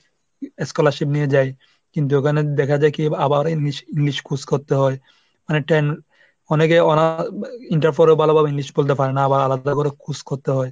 es scholarship নিয়ে যায় কিন্তু ওখানে দেখা যায় কি আবার english~ english খোঁজ করতে হয়। মানে ten অনেকে আবার আহ inter ফলেও ভালোভাবে english বলতে পারেনা আবার আলাদা করে খোঁজ করতে হয়।